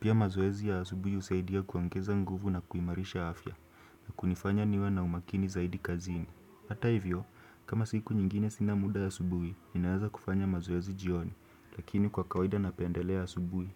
Pia mazoezi ya asubuhi husaidia kuongeza nguvu na kuimarisha afya. Na kunifanya niwe na umakini zaidi kazini. Hata hivyo, kama siku nyingine sina muda asubuhi, ninaweza kufanya mazoezi jioni. Lakini kwa kawaida na pendelea asubuhi.